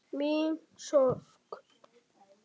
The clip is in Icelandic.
Mína sorg.